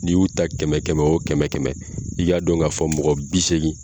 N 'i y'u ta kɛmɛ kɛmɛ o kɛmɛ , i k'a dɔn k'a fɔ mɔgɔ bi seegin